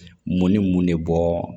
Mun ni mun de bɔ